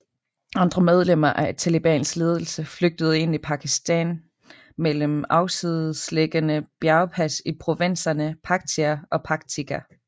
Andre medlemmer af Talibans ledelse flygtede ind i Pakistan gennem afsidesliggende bjergpas i provinserne Paktia og Paktika